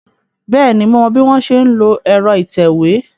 Bẹ́ẹ̀ni, mo mọ bí wọ́n ṣe ń lo ẹ̀rọ ìtẹ̀wé.